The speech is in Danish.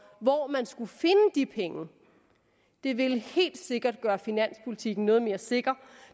hvor man skulle finde de penge det ville helt sikkert gøre finanspolitikken noget mere sikker